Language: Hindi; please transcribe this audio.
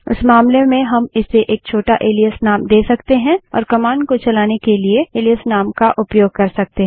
इस मामले में हम इसे एक छोटा एलाइस नाम दे सकते हैं और कमांड को चलाने के लिए एलाइस नाम का उपयोग कर सकते हैं